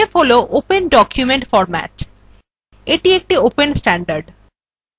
odf হল open document format এটি একটি open standard